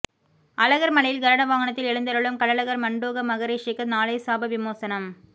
அழகர் மலையில் கருட வாகனத்தில் எழுந்தருளும் கள்ளழகர் மண்டூக மகரிஷிக்கு நாளை சாப விமோசனம்